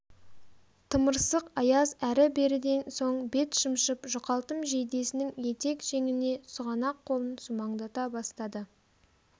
тымырсық аяз әрі-беріден соң бет шымшып жұқалтым жейдесінің етек-жеңіне сұғанақ қолын сумаңдата бастады